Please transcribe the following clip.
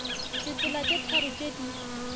ditsela tše tharo tše di